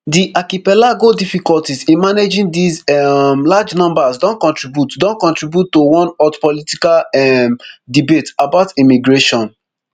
di archipelago difficulties in managing these um large numbers don contribute don contribute to one hot political um debate about immigration